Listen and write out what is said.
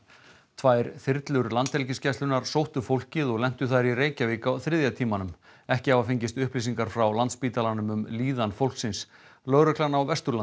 tvær þyrlur Landhelgisgæslunnar sóttu fólkið og lentu þær í Reykjavík á þriðja tímanum ekki hafa fengist upplýsingar frá Landspítalanum um líðan fólksins lögreglan á Vesturlandi